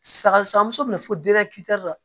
Saga saga muso fɛnɛ fo la